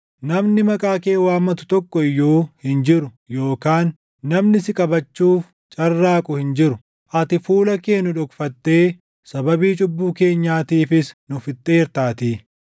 Namni maqaa kee waammatu tokko iyyuu hin jiru; yookaan namni si qabachuuf carraaqu hin jiru; ati fuula kee nu dhokfattee sababii cubbuu keenyaatiifis nu fixxeertaatii.